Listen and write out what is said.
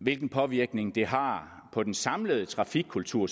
hvilken påvirkning det har på den samlede trafikkultur